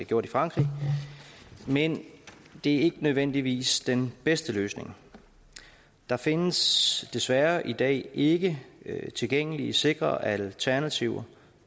gjort i frankrig men det er ikke nødvendigvis den bedste løsning der findes desværre i dag ikke tilgængelige sikre alternativer